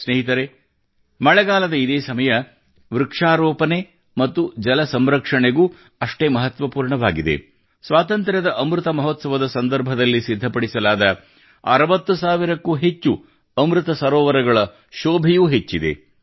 ಸ್ನೇಹಿತರೇ ಮಳೆಗಾಲದ ಇದೇ ಸಮಯ ವೃಕ್ಷಾರೋಪನೆ ಮತ್ತು ಜಲ ಸಂರಕ್ಷಣೆ ಗೂ ಅಷ್ಟೇ ಮಹತ್ವಪೂರ್ಣವಾಗಿದೆ ಸ್ವಾತಂತ್ರ್ಯದ ಅಮೃತ ಮಹೋತ್ಸವದ ಸಂದರ್ಭದಲ್ಲಿ ಸಿದ್ಧಪಡಿಸಲಾದ 60 ಸಾವಿರಕ್ಕೂ ಹೆಚ್ಚು ಅಮೃತ ಸರೋವರಗಳ ಶೋಭೆಯೂ ಹೆಚ್ಚಿದೆ